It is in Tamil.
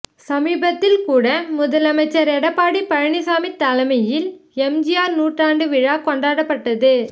சமீபத்தில் கூட முதலமைச்சர் எடப்பாடி பழனிச்சாமி தலைமையில் எம்ஜிஆர் நூற்றாண்டு விழா கொண்டாடப்பட்டது